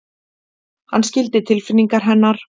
Hann skildi tilfinningar hennar.